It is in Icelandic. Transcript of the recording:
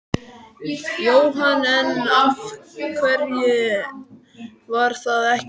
Jóhann: En af hverju var það ekki gert?